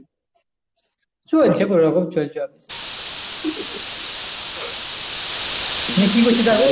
চলছে কোনরকম চলছে office এ নিয়ে কি করছিস এখন?